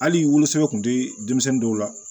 Hali wolosɛbɛn kun tɛ denmisɛnnin dɔw la